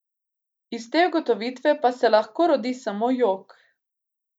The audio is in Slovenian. Iz te ugotovitve pa se lahko rodi samo jok.